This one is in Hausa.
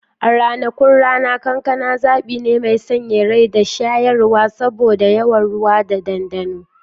A ranakun rana, kankana zaɓi ne mai sanyaya rai da shayarwa saboda yawan ruwa da dandano.